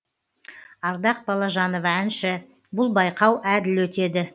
ардақ балажанова әнші бұл байқау әділ өтеді